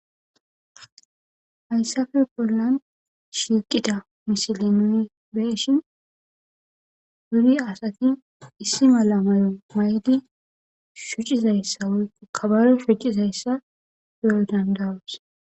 hayssafe bollan shiqida misilenu beshin wuri asati issi mala mayo maydi shuccizayssa woyku kabare shuccizayssa duyo dandawus